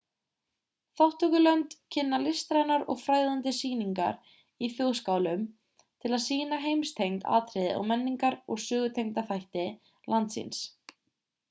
þátttökulönd kynna listrænar og fræðandi sýningar í þjóðskálum til að sýna heimstengd atriði eða menningar og sögutengda þætti lands síns